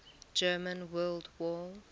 german world war